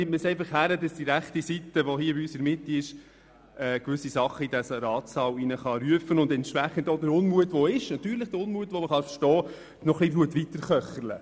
Man nimmt es einfach hin, dass die rechte Seite, die hier im Saal des Grosses Rats in der Mitte sitzt, gewisse Dinge in diesen Ratssaal rufen kann und damit den verständlichen Unmut noch etwas weiter köchelt.